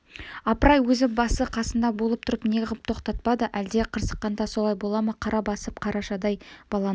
апырай өзі басы-қасында болып тұрып неғып тоқтатпады әлде қырсыққанда солай бола ма қара басып қарашадай баланы